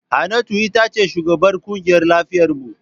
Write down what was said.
Hannatu ita ce shugabar kungiyar lafiyar mu.